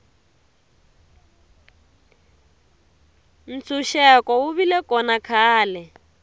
ntshuxeko wu vile kona khale